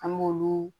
An b'olu